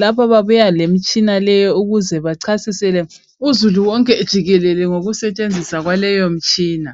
lapha babuya lemitshina leyi ukuze bachasisele uzulu wonke jikelele ngokusetshenziswa kwaleyo mitshina.